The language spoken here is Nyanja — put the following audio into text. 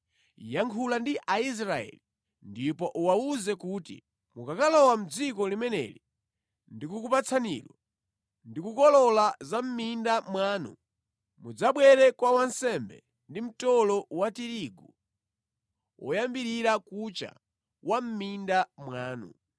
“Yankhula ndi Aisraeli ndipo uwawuze kuti, ‘Mukakalowa mʼdziko limene ndikukupatsanilo ndi kukolola za mʼminda mwanu, mudzabwere kwa wansembe ndi mtolo wa tirigu woyambirira kucha wa mʼminda mwanu.